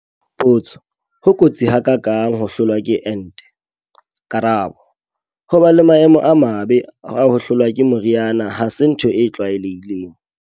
Potso. Ho kotsi ha ka kang ho hlolwa ke ente? Karabo. Ho ba le maemo a mabe a ho hlolwa ke mori ana ha se ntho e tlwaelehileng.